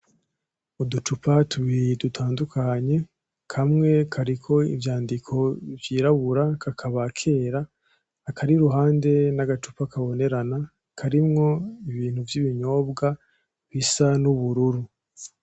Uducupa tubiri dutandukanye, kamwe kariko ivyandiko vyirabura kakaba kera, akari iruhande n'agacupa kabonerana karimwo ibintu vy'ibinyobwa bisa n'ubururu.